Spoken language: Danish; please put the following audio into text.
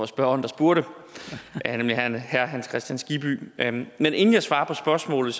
spørgeren der spurgte nemlig herre herre hans kristian skibby men men inden jeg svarer på spørgsmålet